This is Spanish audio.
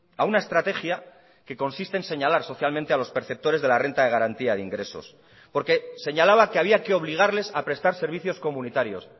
a una estrategia que consiste en señalar socialmente a los perceptores de la renta de garantía de ingresos porque señalaba que había que obligarles a prestar servicios comunitarios